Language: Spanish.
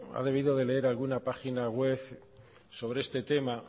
ha debido de leer alguna página web sobre este tema